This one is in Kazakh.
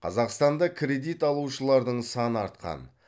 қазақстанда кредит алушылардың саны артқан